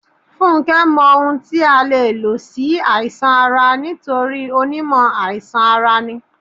Fúnké mọ ohun tí a lè lò sí àìsàn ara nítorí onímọ̀ àìsàn ara ní.